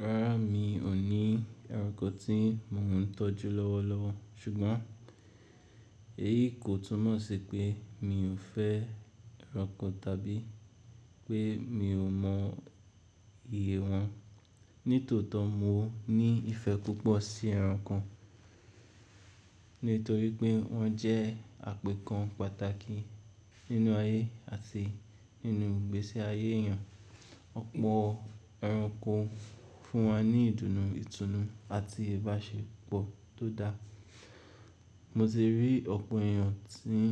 Rárá, mi ò ní ẹranko tí mò ń tọ́jú lọ́wọ́lọ́wọ́. Ṣùgbọ́n èyí kò túnmọ̀ sí pé mi ò fẹ́ ẹranko tàbí pé mi ò mọ ìyè wọn. Nítòótọ́, mo ní ìfẹ́ púpọ̀ sí ẹranko nítorí pé wọ́n jẹ́ àpèkán pàtàkì nínú ayé àti nínú ìgbésí ayé èèyàn. Ọ̀pọ̀ ẹranko fún wa ní ìdùnnú, ìtùnú àti ìbáṣepọ̀ tó dáa. Mo ti rí ọ̀pọ̀ èèyàn tí ń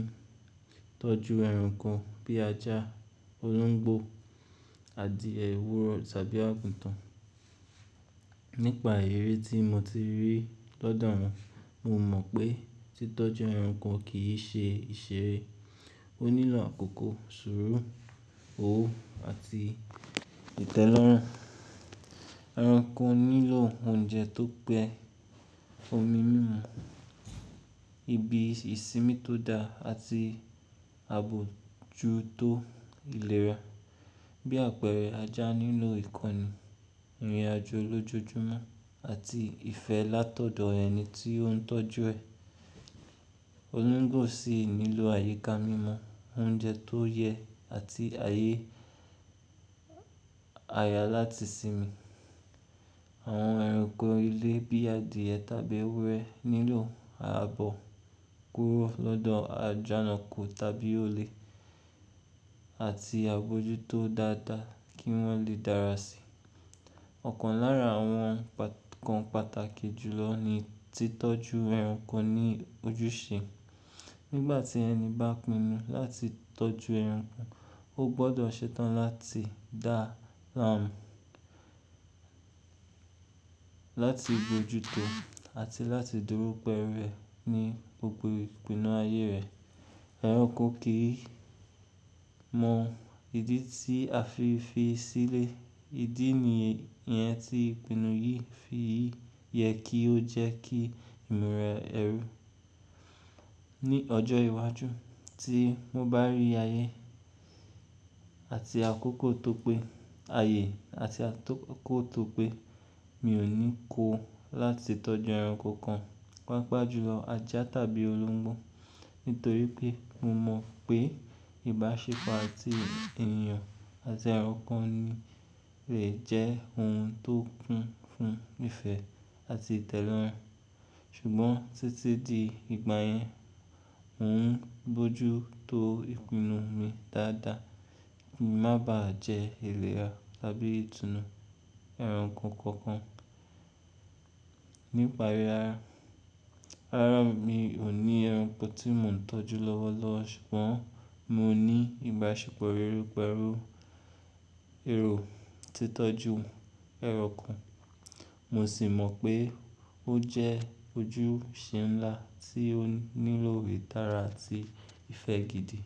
tọ́jú ẹranko bí ajá, olóńgbò, adìẹ owúrọ̀ tàbí àgùntàn. Nípa èrí tí mo ti rí lọ́dọ̀ wọn, mo mọ̀ pé títọ́jú ẹranko kì í ṣe ìṣeré. Ó nílọ̀ àkókò, suru, òwò àti ìtẹ́lọ́rùn. Ẹranko nílọ̀ oúnjẹ tó pẹ́, omi mímu, ibi ìsinmi tó dáa àti ààbò jú tó ìlera. Bí àpẹẹrẹ, ajá nílò ìko enu ìrìnàjò lójoojúmọ́ àti ìfẹ́ látọ̀dọ̀ ẹni tí ó ń tọ́jú ẹ. Olóńgbò sì nílọ̀ àyíká mímọ́, oúnjẹ tó yẹ àti ayé àyà láti sinmi. Àwọn ẹranko ilé bí i adìẹ tàbí ewúrẹ́ nílò ààbò kúrò lọ́dọ̀ àjànàkú tàbí olè àti àgbójútó dáadáa kí wọ́n lè dára sí. Ọ̀kan lára àwọn nǹkan pàtàkì jù lọ ni títọ́jú ẹranko ní ojúṣe. Nígbà tí ẹni bá pinnu láti tọ́jú ẹranko, ó gbọ́dọ̀ ṣe tán láti dáa láti gbójú tó àti láti dúró pẹ́lú e ní gbogbo ìpinnu ayé rẹ̀. Ẹranko kì í mọ ìdí tí a fi fi sílé. Ìdí nìyẹn tí ìpinnu yìí fi yẹ kí ó jẹ́ kí ìmùra ẹ rú ní ọjọ́ iwájú tí mo bá rí ayé àti àkókò tó pé aye àti Mi ò ní kó láti tọ́jú ẹranko kan, pàápàá jùlọ ajá tàbí olóńgbò. Nítorí pé mo mọ̀ pé ìbáṣepọ̀ àti ènìyàn àti ẹranko lè jẹ́ ohun tó kún fún ìfẹ́ àti ìtẹ́lọ́rùn. Ṣùgbọ́n títí di ìgbà yẹn, n ó ń bójú tó ìpinnu mi dáadáa kí má bà á jẹ́ ìlera tàbí ìtùnú ẹranko kankan. Nípa yí, rárá mi ò ní ẹranko tí mò ń tọ́jú lọ́wọ́lọ́wọ́. Ṣùgbọ́n mo ní ìbáṣepọ̀ rere pẹ̀lú èrò títọ́jú ẹranko. Mo sì mọ̀ pé ó jẹ́ ojúṣe ńlá tí ó nílò ìtára àti ìfẹ́ gidi.